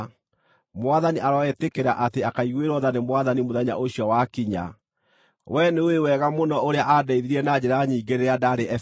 Mwathani aroĩtĩkĩra atĩ akaaiguĩrwo tha nĩ Mwathani mũthenya ũcio wakinya! Wee nĩũĩ wega mũno ũrĩa aandeithirie na njĩra nyingĩ rĩrĩa ndaarĩ Efeso.